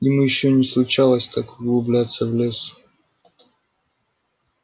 ему ещё не случалось так углубляться в лес